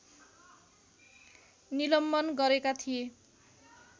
निलम्बन गरेका थिए